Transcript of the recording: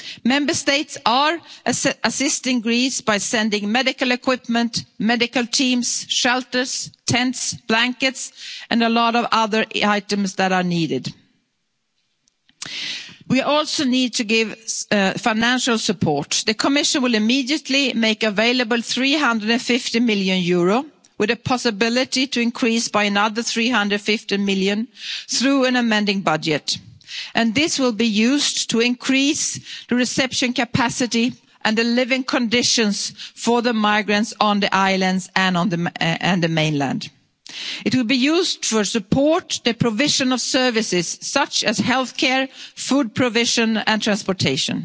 action quite quickly. Member States are assisting Greece by sending medical equipment, medical teams, shelters, tents, blankets, and a lot of other items that are needed. We also need to give financial support. The Commission will immediately make available EUR 350 million with a possibility to increase this by another 350 million through an amending budget, and this will be used to increase the reception capacity and the living conditions for the migrants on the islands and on the mainland. It will be used to support the provision of services such as healthcare, food provision